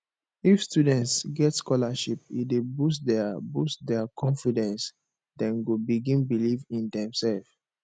if students get scholarship e dey boost their boost their confidence dem go begin believe in demsef